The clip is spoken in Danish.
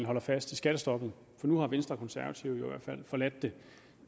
holder fast i skattestoppet for nu har venstre og konservative i øvrigt forladt det